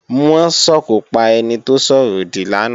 Wọ́n sòkò pa ẹni tó sọ̀rọ̀ òdì lánàá